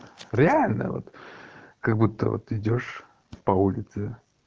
реально вот как будто вот идёшь по улице